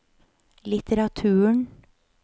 litteraturen